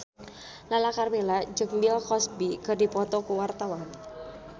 Lala Karmela jeung Bill Cosby keur dipoto ku wartawan